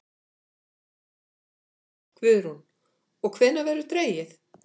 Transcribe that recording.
Guðrún: Og hvenær verður dregið?